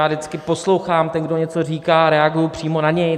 Já vždycky poslouchám, ten, kdo něco říká, reaguju přímo na něj.